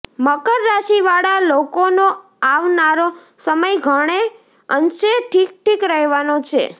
મકર રાશિ વાળા લોકોનો આવનારો સમય ઘણે અંશે ઠીક ઠીક રહેવાનો છે